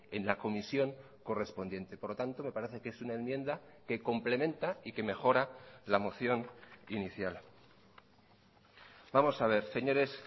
en la comisión correspondiente por lo tanto me parece que es una enmienda que complementa y que mejora la moción inicial vamos a ver señores